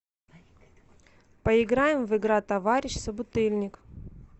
поиграем в игра товарищ собутыльник